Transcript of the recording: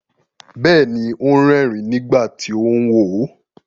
Bẹ́ẹ̀ni, ó ń rẹ́ẹ̀rín nígbà tí ó ń wò ó.